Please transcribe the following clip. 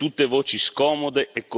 di fede islamica.